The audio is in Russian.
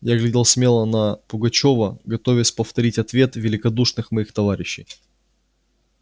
я глядел смело на пугачёва готовясь повторить ответ великодушных моих товарищей